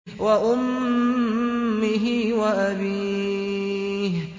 وَأُمِّهِ وَأَبِيهِ